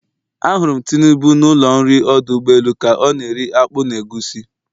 Ahụrụ m Tinubu n'ụlọ nri ọdụ ụgbọelu ka ọ na-eri akpu na egusi.